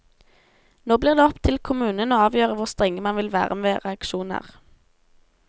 Nå blir det opp til kommunen å avgjøre hvor strenge man vil være med reaksjoner.